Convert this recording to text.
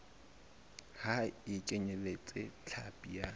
ha e kenyeletse hlapi ya